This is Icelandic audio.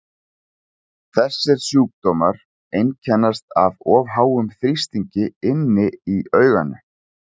þessir sjúkdómar einkennast af of háum þrýstingi inni í auganu